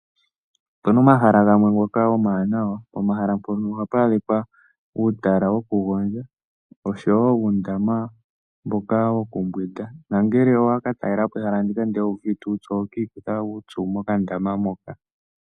Opuna omahala gamwe ngoka omawanawa, pomahala mpono ohapu adhika uutala wokugondja oshowo uundama mboka wo kumbwinda, nongele owa katalelapo ehala ndika ndele owu uvite uupyu, oho ka ikutha uupyu mokandama moka.